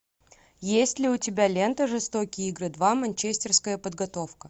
есть ли у тебя лента жестокие игры два манчестерская подготовка